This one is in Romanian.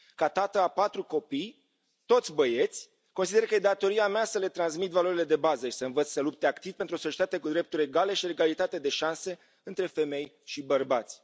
Ca tată a patru copii, toți băieți, consider că e datoria mea să le transmit valorile de bază și să i învăț să lupte activ pentru o societate cu drepturi egale și egalitate de șanse între femei și bărbați.